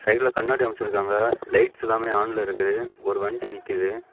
சைடுல கண்ணாடி அமிச்சிருக்காங்க லைட்ஸ் எல்லாமே ஆன்ல இருக்குது ஒரு வண்டி நிக்குது.